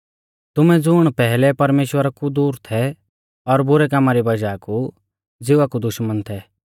तुमै ज़ुण पैहलै परमेश्‍वरा कु दूर थै और बुरै कामा री वज़ाह कु ज़िवा कु दुश्मन थै